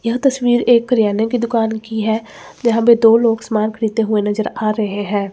यह तस्वीर एक क्रियाने की दुकान की है यहां पे दो लोग सामान खरीदते हुए नजर आ रहे हैं।